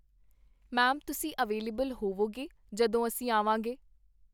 ma'am ਤੁਸੀਂ ਅਵੇਲੇਵਲ ਹੋਵੋਗੇ, ਜਦੋਂ ਅਸੀਂ ਆਵਾਂਗੇ